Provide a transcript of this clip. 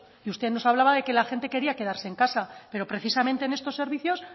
y usted nos hablaba de que la gente quería quedarse en casa pero precisamente en estos servicios